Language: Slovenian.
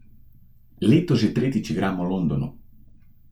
Letos že tretjič igram v Londonu.